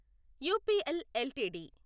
UPL LTD